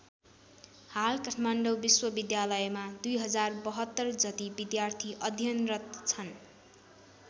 हाल काठमाडौँ विश्वविद्यालयमा २०७२ जति विद्यार्थी अध्ययनरत छन्।